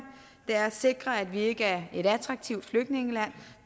er at sikre at vi ikke er et attraktivt flygtningeland